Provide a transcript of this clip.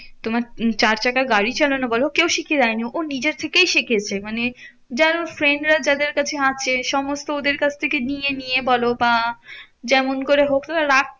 তোমার চার চাকা গাড়ি চালানো বলো কেউ শিখিয়ে দেয়নি ও নিজে থেকেই শিখেছে। মানে যারা ওর friend রা যাদের কাছে আছে, সমস্ত ওদের কাছ থেকে নিয়ে নিয়ে বলো বা যেমন করে হোক